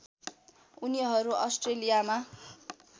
उनीहरू अस्ट्रेलियामा